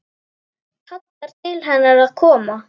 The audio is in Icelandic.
Kallar til hennar að koma.